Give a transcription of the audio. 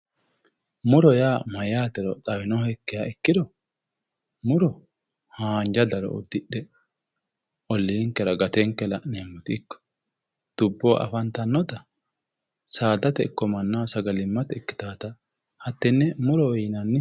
Mu'ro yaa mayyaatero xawinohekkiha ikkiro Mu'ro haanja daro uddidhe Olliinkera gatenke la'neemmoti ikko dubboho afantannoti saadate ikko mannaho sagalimmate ikkitaata hattenne mu'rote yinanni